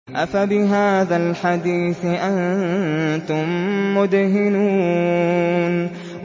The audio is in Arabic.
أَفَبِهَٰذَا الْحَدِيثِ أَنتُم مُّدْهِنُونَ